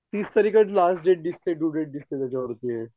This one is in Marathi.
तीस तारीखच लास्ट डेट दिसते ड्यू डेट दिसते त्याच्यावर.